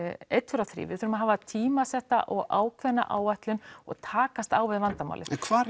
einn tveir og þrír við þurfum að hafa tímasetta og ákveðna áætlun og takast á við vandamálið en hvar